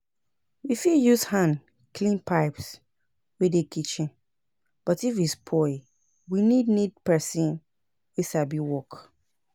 We fit use hand clean pipes wey dey kitchen but if e spoil we need need person wey sabi work